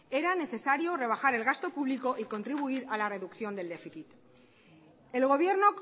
era necesario rebajar el gasto público y contribuir a la reducción del déficit el gobierno